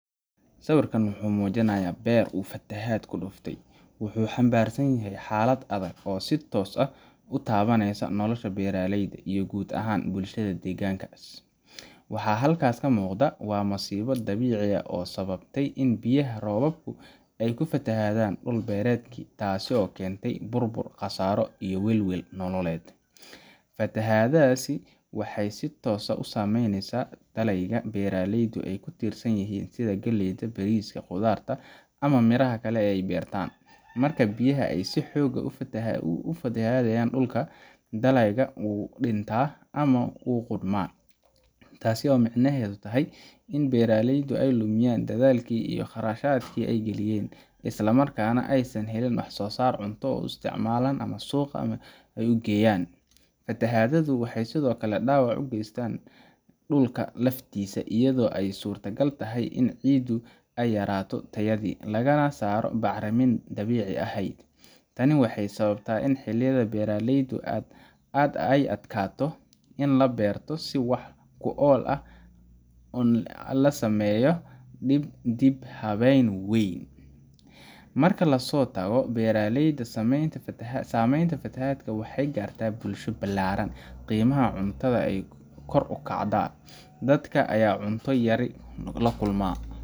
Sawirka muujinaya beer uu fatahaad ku dhufatay wuxuu xambaarsan yahay xaalad adag oo si toos ah u taabaneysa nolosha beeraleyda iyo guud ahaan bulshada deegaankaas. Waxa halkaas ka muuqda waa masiibo dabiici ah oo sababtay in biyaha roobabku ay ku fatahaan dhul beereedkii, taasoo keentay burbur, khasaaro, iyo welwel nololeed. Fatahaaddaasi waxay si toos ah u saameyneysaa dalagyadii beeraleydu ay ku tiirsanaayeen, sida galleyda, bariiska, khudaarta, ama miraha kale ee ay beertaan. Marka biyaha ay si xoog leh u fatahadayan dhulka, dalagga wuu dhintaa ama wuu qudhmaa, taasoo micnaheedu yahay in beeraleydu ay lumiyaan dadaalkii iyo kharashkii ay galiyeen, isla markaana aysan helin wax-soo-saar ay cunto u isticmaalaan ama suuqa u geeyaan. Fatahaaddu waxay sidoo kale dhaawac u geysan kartaa dhulka laftiisa, iyada oo ay suurtagal tahay in ciiddu ay yaraato tayadeedii, lagana saaro bacrimintii dabiiciga ahayd. Tani waxay sababtaa in xilli beereedyo kale ay adkaato in la beerto si wax ku ool ah la sameeyo dib u habeyn weyn. Marka laga soo tago beeraleyda, saameynta fatahaadda waxay gaartaa bulsho ballaaran qiimaha cuntada ayaa kor u kaca, dadka ayaa cunto yari la kulma,